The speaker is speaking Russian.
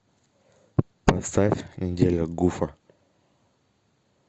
поставь неделя гуфа